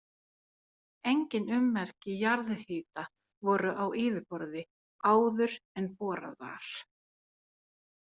Engin ummerki jarðhita voru á yfirborði áður en borað var.